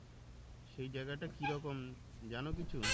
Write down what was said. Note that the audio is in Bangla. সেই জেয়গাটা কি রকম জানো কিছু?